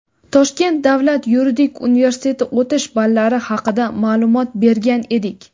Toshkent davlat yuridik universiteti o‘tish ballari haqida ma’lumot bergan edik.